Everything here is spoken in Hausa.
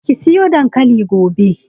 Ki soya dankalin turawa gobe!